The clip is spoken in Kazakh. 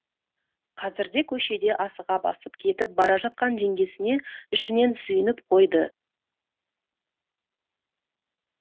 қазірде көшеде асыға басып кетіп бара жатқан жеңгесіне ішінен сүйініп қойды